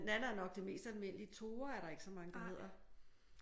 Nanna er nok det mest almindelige. Tore er der ikke så mange der hedder